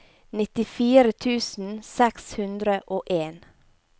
nittifire tusen seks hundre og en